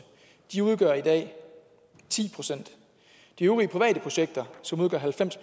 de udgør i dag ti procent de øvrige private projekter som udgør halvfems